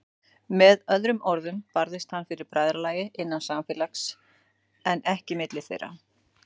Með öðrum orðum barðist hann fyrir bræðralagi, innan samfélags, en ekki milli þeirra.